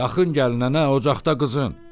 Yaxın gəlnənə, ocaqda qızın.